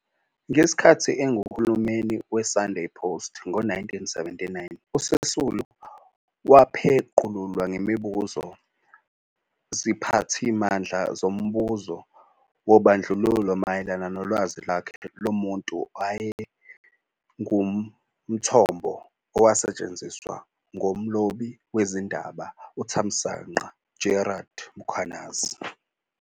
Ngesikhathi engumhleli "weSunday Post" ngo-1979, uSisulu wapheqululwa ngemibuzo ziphathimandla zombuzo wobandlululo mayelana nolwazi lwakhe lomuntu owayenguthombo owasetshenziswa ngumlobi wezindaba uThamsanqa Gerald Mkhwanazi.